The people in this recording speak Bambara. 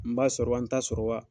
N b'a sɔrɔ wa n ta sɔrɔ wa